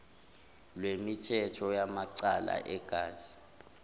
lwemithetho yamacala egazi